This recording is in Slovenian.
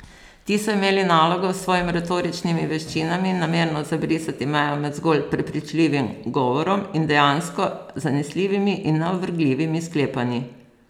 Ti so imeli nalogo s svojim retoričnimi veščinami namerno zabrisati mejo med zgolj prepričljivim govorom in dejansko zanesljivimi in neovrgljivimi sklepanji.